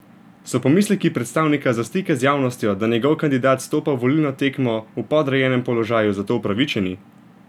So pomisleki predstavnika za stike z javnostjo, da njegov kandidat stopa v volilno tekmo v podrejenem položaju, zato upravičeni?